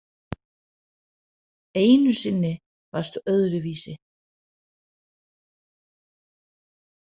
Einu sinni varstu öðruvísi.